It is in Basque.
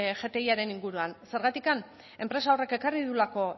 gtiaren inguruan zergatik enpresa horrek ekarri duelako